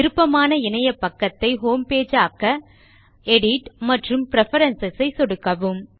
விருப்பமான இணையபக்கத்தை ஹோம்பேஜ் ஆக்க எடிட் மற்றும் பிரெஃபரன்ஸ் ஐ சொடுக்கவும்